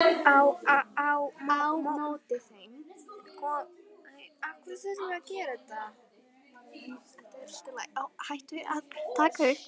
Á móti þeim kom Arnór á harða spretti.